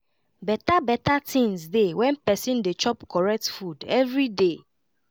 beta beta tinz dey when pesin dey chop correct food everyday